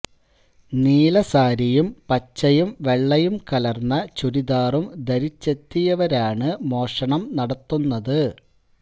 നീല സാരിയും പച്ചയും വെള്ളയും കലർന്ന ചുരിദാറും ധരിച്ചെത്തിയവരാണ് മോഷണം നടത്തുന്നത്